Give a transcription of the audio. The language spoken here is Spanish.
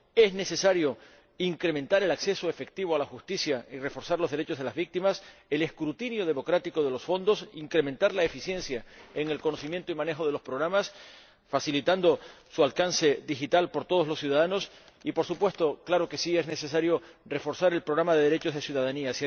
Es necesario incrementar el acceso efectivo a la justicia, reforzar los derechos de las víctimas y el escrutinio democrático de los fondos, incrementar la eficiencia en el conocimiento y manejo de los programas, facilitando su acceso digital para todos los ciudadanos y, por supuesto, claro que sí, es necesario reforzar el Programa de Derechos y Ciudadanía.